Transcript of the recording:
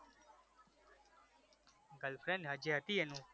girlfriend જે હતી એનું